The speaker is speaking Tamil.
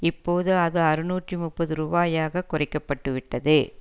இப்போது அது அறுநூற்று முப்பது ரூபாயாக குறைக்கப்பட்டுவிட்டது